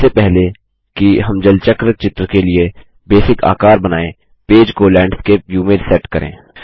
इससे पहले कि हम जल चक्र चित्र के लिए बेसिक आकार बनाएँ पेज को लैंडस्केप व्यू में सेट करें